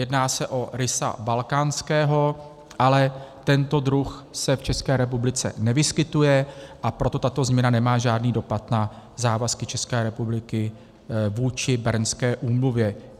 Jedná se o rysa balkánského, ale tento druh se v České republice nevyskytuje, a proto tato změna nemá žádný dopad na závazky České republiky vůči Bernské úmluvě.